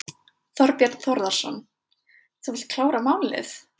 Þorbjörn Þórðarson: Þú vilt klára málið?